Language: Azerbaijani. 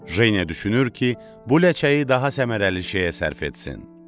Jeniya düşünür ki, bu ləçəyi daha səmərəli şeyə sərf etsin.